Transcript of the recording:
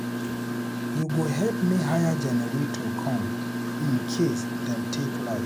You go help me hire generator come in case dem take light.